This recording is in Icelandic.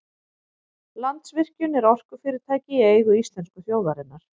Landsvirkjun er orkufyrirtæki í eigu íslensku þjóðarinnar.